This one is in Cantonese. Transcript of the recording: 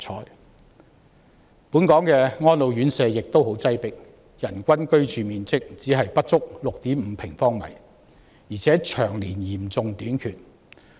另外，本港的安老院舍也很擠迫，人均居住面積只是不足 6.5 平方米，而且宿位長年嚴重短缺。